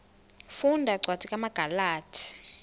funda cwadi kumagalati